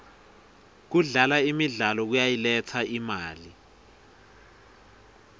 kudlala imidlalo kuyayiletsa imali